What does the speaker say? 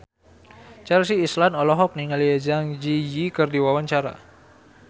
Chelsea Islan olohok ningali Zang Zi Yi keur diwawancara